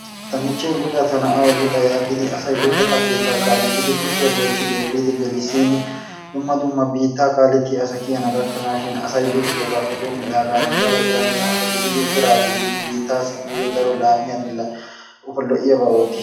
Ta michche luxa tanawu yaagidi asay luxetta keettaa kaalettidi kusiya goochchidi efiidi gelisin dumma dumma biittaa kaalettiya asa kiyana gakkanaashin asay luxiddogaape doomidaagan daro eranchcha asa gididi eraa giidi nu biittaassi nuyo daro laamiya loiyaba ottichi..